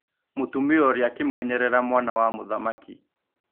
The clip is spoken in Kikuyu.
Mũtumia ũrĩa akĩmwenyerera mwana wa mũthamaki.